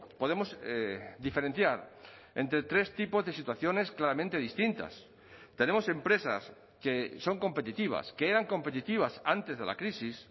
podemos diferenciar entre tres tipos de situaciones claramente distintas tenemos empresas que son competitivas que eran competitivas antes de la crisis